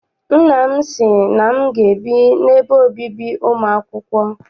Nna m sị na m ga- ebi n'ebe obibi ụmụ akwụkwọ.